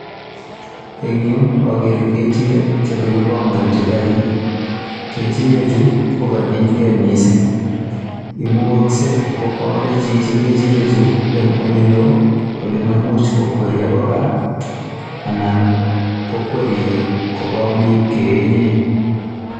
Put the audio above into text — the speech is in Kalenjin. En yu ogere ng'echirek che kogibongochi karit. Kechirechu kogachilge mising imukogse ko koale chichi ng'echirechu en ole loo ole maimuch kokwer agoi gaa anan ko kokwer koba ole ibkeyenyen.